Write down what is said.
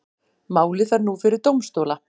Málið fer nú fyrir dómstóla